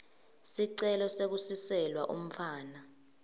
sicelo sekusiselwa umntfwana